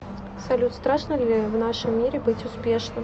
салют страшно ли в нашем мире быть успешным